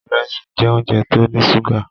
Ìrẹsì jẹ́ óúnjẹ tó ní ṣúgà.